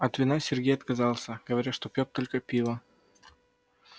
от вина сергей отказался говоря что пьёт только пиво